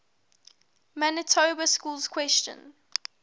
manitoba schools question